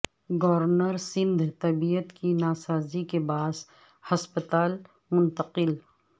governor Sindh طبعیت کی ناسازی کے باعث ہسپتال منتقل